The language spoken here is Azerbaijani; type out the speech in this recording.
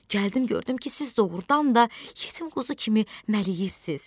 Gəldim gördüm ki, siz doğurdan da yetim quzu kimi məliyirsiz.